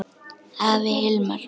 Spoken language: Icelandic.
Afi Hilmar.